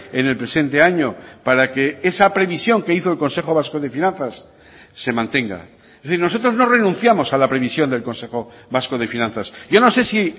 en el presente año para que esa previsión que hizo el consejo vasco de finanzas se mantenga es decir nosotros no renunciamos a la previsión del consejo vasco de finanzas yo no sé si